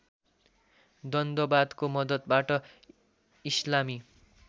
द्वन्द्ववादको मद्दतबाट इस्लामी